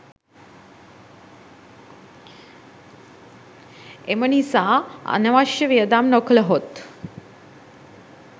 එම නිසා අනවශ්‍ය වියදම් නොකළහොත්